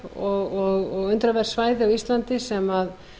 falleg og undraverð svæði á íslandi sem